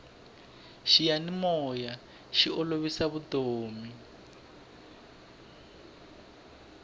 xiyanimoya xi olovisa vutomi